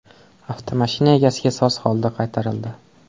Avtomashina egasiga soz holda qaytarildi.